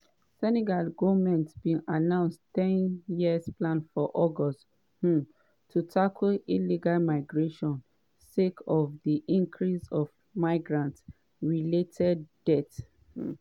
senegal goment bin announce 10-year plan for august um to tackle illegal migration sake of di increase of migrant-related deaths. um